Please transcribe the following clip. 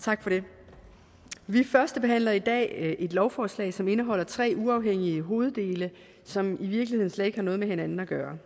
tak for det vi førstebehandler i dag et lovforslag som indeholder tre uafhængige hoveddele som i virkeligheden slet ikke har noget med hinanden at gøre